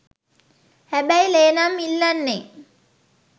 හැබැයි ලේ නම් ඉල්ලන්නේ